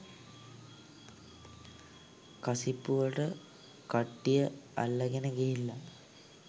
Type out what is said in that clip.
කසිප්පු වලට කට්ටිය අල්ලගෙන ගිහිල්ලා